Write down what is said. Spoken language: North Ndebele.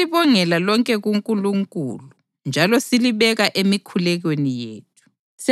Sihlala silibongela lonke kuNkulunkulu njalo silibeka emikhulekweni yethu.